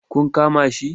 Ku kama shi!